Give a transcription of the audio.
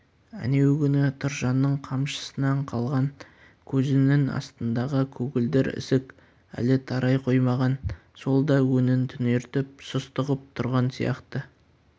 әнеугүні тұржанның қамшысынан қалған көзінің астындағы көгілдір ісік әлі тарай қоймаған сол да өңін түнертіп сұсты ғып тұрған сияқты